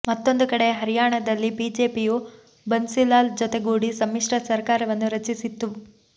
ಮತ್ತೊಂದು ಕಡೆ ಹರ್ಯಾಣದಲ್ಲಿ ಬಿಜೆಪಿಯು ಬನ್ಸಿಲಾಲ್ ಜೊತೆಗೂಡಿ ಸಮ್ಮಿಶ್ರ ಸರಕಾರವನ್ನು ರಚಿಸಿತ್ತು